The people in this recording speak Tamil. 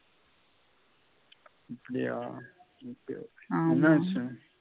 அப்படியா ok ok ஆமா என்ன விஷயம்